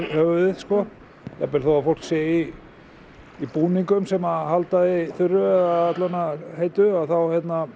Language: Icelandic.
höfuðið jafnvel þó að fólk sé í í búningum sem að halda því þurru eða alla vegana heitu þá